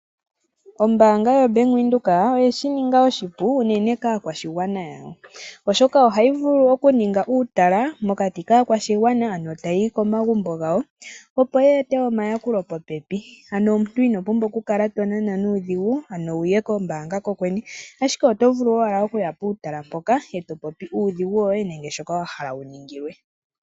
Ombaanga ya venduka oye shi ninga oshipu unene kaakwashigwana yayo. Oha yi vulu okuninga uutala, mokati kaakwashigwana ta yi yi komagumbo gawo, opo ye ete oma yakulo popepi. Ano omuntu ino pumbwa oku kala to Nana nuudhigu, wu ye ko mbaanga kokwene, ashike oto vulu oku ya puutala mpoka eto popu uudhigu woye, nashoka wa hala wu ningilwe.